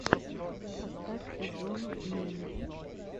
поставь эзонну мельмель